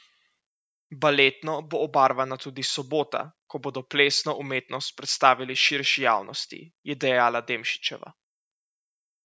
Baletno bo obarvana tudi sobota, ko bodo plesno umetnost predstavili širši javnosti, je dejala Demšičeva.